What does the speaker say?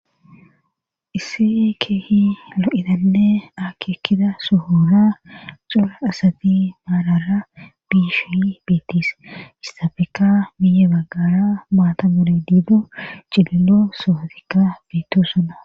isse keehi lo7idanne aki ekkida sohora cora asati maalara biish biittis issafeka miye baggara maata mole diido cililo sohotikka biitto suna